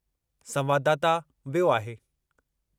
संवाददाता वियो आहे।